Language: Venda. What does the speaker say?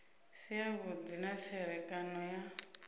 si avhudi na tserekano ya